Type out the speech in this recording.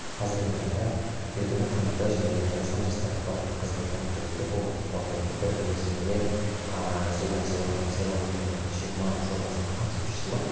қазіргі таңда еркіндік қанаты және қазақстан жастар ақпараттық қызметі атты екі қоғамдық қордың бірлесуімен ааа жүзеге асып отырған сайлау екі мың жиырма жобасының қатысушысымын